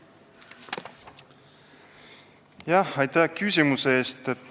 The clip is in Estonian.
Aitäh küsimuse eest!